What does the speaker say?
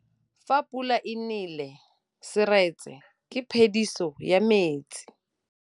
Fa pula e nelê serêtsê ke phêdisô ya metsi.